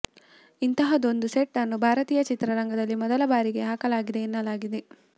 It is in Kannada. ಇಂತಹದೊಂದು ಸೆಟ್ ಅನ್ನು ಭಾರತೀಯ ಚಿತ್ರರಂಗದಲ್ಲಿ ಮೊದಲ ಬಾರಿಗೆ ಹಾಕಲಾಗಿದೆ ಎನ್ನಲಾಗಿದೆ